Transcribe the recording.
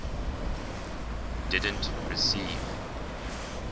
didn t receive